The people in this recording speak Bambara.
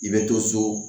I bɛ to so